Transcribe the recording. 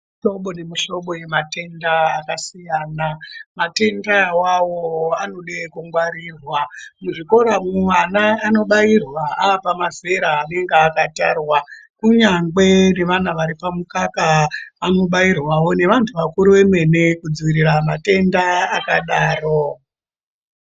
Kune muhlobo nemuhlobo ematenda akasiyana. Matenda awawo anoda kungwarirwa . Muzvikora mwo vana vanobairwa vave pamazera anenga akatarwa kunyangwe nevana vari pamukaka vanobairwawo . Nevantu vakuru vamene kudzivirira matenda akadaro.